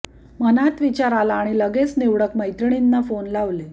मनात विचार आला आणि लग्गेच निवडक मैत्रिणींना फोन लावले